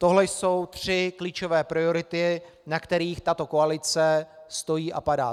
Tohle jsou tři klíčové priority, na kterých tato koalice stojí a padá.